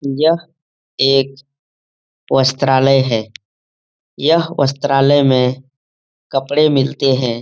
यह एक वस्त्रालय है यह वस्त्रालय में कपड़े मिलते हैं।